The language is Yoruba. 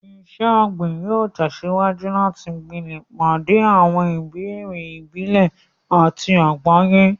Iṣẹ́ ọ̀gbìn yóò tẹ̀síwájú láti gbilẹ̀, pàdé àwọn ìbéèrè ìbílẹ̀ àti àgbáyé.